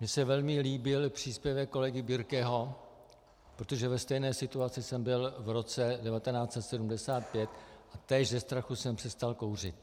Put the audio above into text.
Mně se velmi líbil příspěvek kolegy Birkeho, protože ve stejné situaci jsem byl v roce 1975 a též ze strachu jsem přestal kouřit.